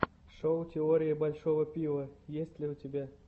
шоу теории большого пива есть ли у тебя